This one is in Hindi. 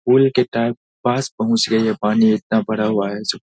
पुल के पास पहुंच गया ये पानी इतना भरा हुआ है सो --